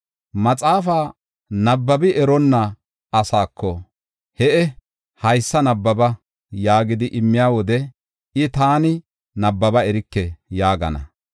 Maxaafa nabbabi eronna asako, “He7e, haysa nabbaba” yaagidi immiya wode, I, “Taani nabbaba erike” yaagana.